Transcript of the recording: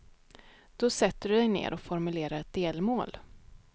Då sätter du dig ner och formulerar ett delmål.